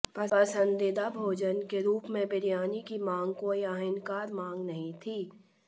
पसंदीदा भोजन के रूप में बिरयानी की मांग कोई अहानिकर मांग नहीं थी